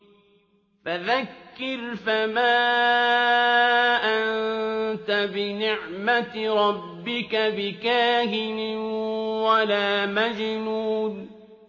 فَذَكِّرْ فَمَا أَنتَ بِنِعْمَتِ رَبِّكَ بِكَاهِنٍ وَلَا مَجْنُونٍ